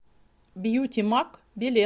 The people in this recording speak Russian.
бьютимаг билет